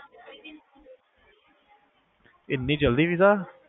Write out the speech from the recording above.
ਐਨੀ ਜਲਦੀ ਵੀਜ਼ਾ